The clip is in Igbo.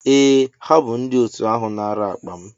Ee ha bu ndi otu ahu nara akpa m.